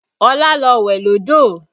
Ọlá lọ wẹ̀ lódò